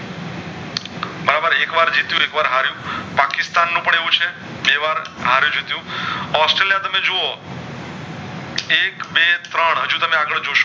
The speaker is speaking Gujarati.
બરાબર એક જીત્યું ને એકવાર હરિયું પાકિસ્તાન નું પણ એવું છે બે વાર હારયુ જીત્યું ઑસ્ટ્રેલિયા તમે જોવો એક બે ત્રણ હજુ તમે આગળ જોશો